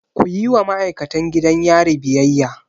Kuyi wa ma'aikatan gidan yari biyayya!